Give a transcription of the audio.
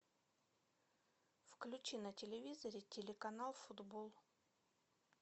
включи на телевизоре телеканал футбол